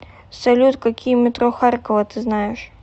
салют какие метро харькова ты знаешь